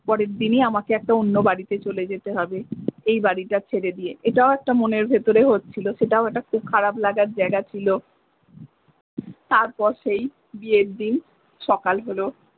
পরের দিনই আমাকে একটা অন্য বাড়িতে চলে যেতে হবে এই বাড়িটা ছেড়ে দিয়ে এটাও একটা মনের ভেতরে হচ্ছিলো সেটাও একটা খুব খারাপ লাগার জায়গা ছিলো তারপর সেই বিয়ের দিন সকাল হলো।